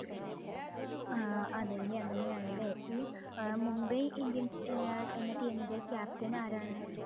ആഹ് അതേല്ലേ അങ്ങനെയാണ് ല്ലേ ഈ Mumbai Indians ഏർ എന്ന team ഇന്റെ captain ആരാണ്?